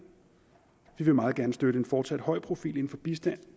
vil meget gerne støtte en fortsat høj profil inden for bistand